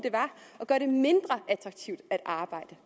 at gøre det mindre attraktivt at arbejde